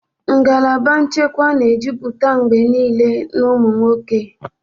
Ngalaba nchekwa na-ejupụta mgbe niile na ụmụ nwoke.